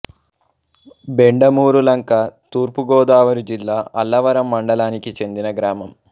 బెండమూరులంక తూర్పు గోదావరి జిల్లా అల్లవరం మండలానికి చెందిన గ్రామం